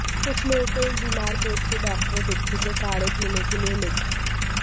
कुछ लोगों को एक बीमार पेट के डॉक्टरों बिच्छू के काढ़े पीने के लिए लिख